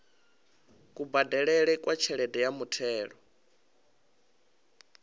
kubadelele kwa tshelede ya muthelo